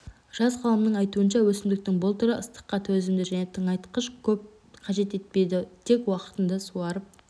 жас ғалымның айтуынша өсімдіктің бұл түрі ыстыққа төзімді және тыңайтқышты көп қажет етпейді тек уақтында суарып